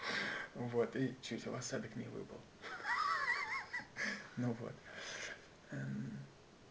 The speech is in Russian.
вот и чуть в осадок не выпал ну вот